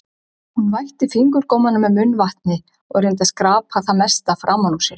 Hún vætti fingurgómana með munnvatni og reyndi að skrapa það mesta framan úr sér.